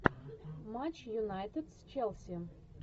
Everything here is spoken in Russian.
матч юнайтед с челси